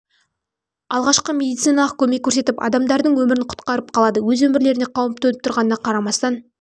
алғашқы медициналық көмек көрсетіп адамдардың өмірін құтқарып қалады өз өмірлеріне қауіп төніп тұрғанына қарамастан қос